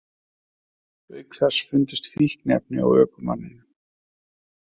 Auk þess fundust fíkniefni á ökumanninum